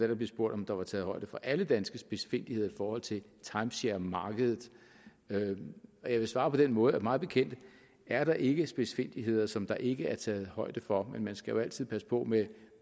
der blev spurgt om der var taget højde for alle danske spidsfindigheder i forhold til timesharemarkedet jeg vil svare på den måde at mig bekendt er der ikke spidsfindigheder som der ikke er taget højde for men man skal jo altid passe på med